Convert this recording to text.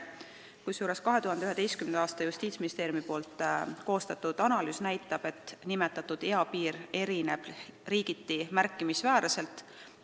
Justiitsministeeriumi 2011. aastal koostatud ülevaade näitab, et nimetatud eapiir erineb riigiti märkimisväärselt.